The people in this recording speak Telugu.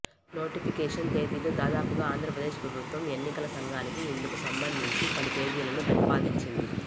నోటిఫికేషన్ తేదీలు దాదాపుగా ఆంధ్రప్రదేశ్ ప్రభుత్వం ఎన్నికల సంఘానికి ఇందుకు సంబంధించి పలు తేదీలను ప్రతిపాదించింది